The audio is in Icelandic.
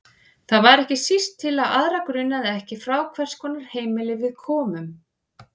Það var ekki síst til að aðra grunaði ekki frá hvers konar heimili við komum.